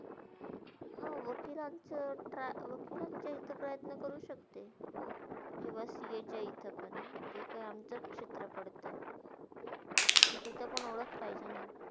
हो, वकीलांचावर try वकीलांच्याकडे प्रयत्न करू शकते कवा CA च्या इथे पण तिता आमचास क्षेत्रा पडते, पण तिथे पण ओळख पाहिजे ना.